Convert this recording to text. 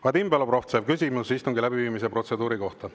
Vadim Belobrovtsev, küsimus istungi läbiviimise protseduuri kohta.